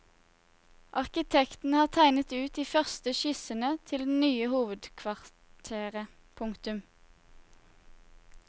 Arkitektene har tegnet ut de første skissene til det nye hovedkvarteret. punktum